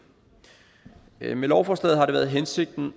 med lovforslaget har det været hensigten